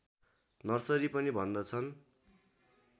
nursery पनि भन्दछन्